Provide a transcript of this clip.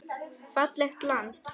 Fallegt land.